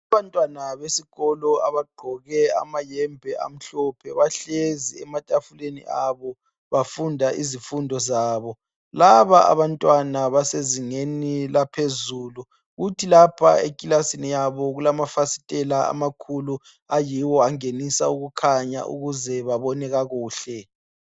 Abantwana besikolo abagqoke amayembe amhlophe bahlezi ematafuleni abo bafunda izifundo zabo. Laba abantwana basezingeni laphezulu kuthi lapha ekilasini yabo kulamafasitela amakhulu ayiwo angenisa ukukhanya ukuze babone kakuhle.